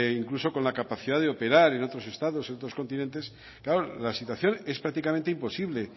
incluso con la capacidad de operar en otros estados en otros continentes claro la situación es prácticamente imposible